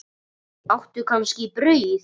Áttu kannski brauð?